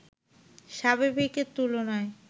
স্বাভাবিকের তুলনায়